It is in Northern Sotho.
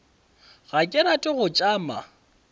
ga ke rate go tšama